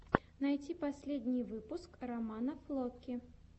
найти последний выпуск романа флоки